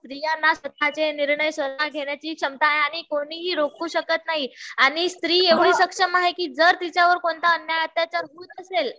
स्त्रियांना स्वतःचे निर्णय स्वतः घेण्याची क्षमता आहे. आणि कोणीही रोखू शकत नाही. आणि स्त्री एवढी सक्षम आहे कि जर तिच्यावर कोणता अन्याय होत असेल